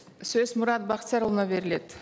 сөз мұрат бақтиярұлына беріледі